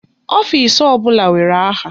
Ọfisi ọbụla nwere aha.